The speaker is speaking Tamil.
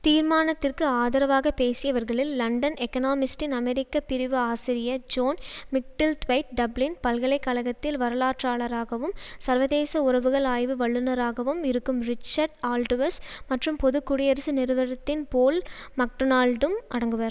தீர்மானத்திற்கு ஆதரவாக பேசியவர்களில் லண்டன் எகானமிஸ்ட்டின் அமெரிக்க பிரிவு ஆசிரியர் ஜோன் மிக்டில்த்வைத் டப்ளின் பல்கலை கழகத்தில் வரலாற்றாளராகவும் சர்வதேச உறவுகள் ஆய்வு வல்லுனராகவும் இருக்கும் ரிச்சர்ட் ஆல்டுவிஸ் மற்றும் பொது குடியரசு நிறுவரத்தின் போல் மக்டோனால்டும் அடங்குவர்